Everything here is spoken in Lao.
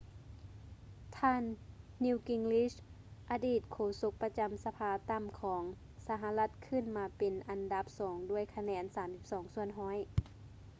ທ່ານ ນີວ ກິງຣິດ newt gingrich ອະດີດໂຄສົກປະຈຳສະພາຕ່ຳຂອງສະຫະລັດຂຶ້ນມາເປັນອັນດັບສອງດ້ວຍຄະແນນ 32 ສ່ວນຮ້ອຍ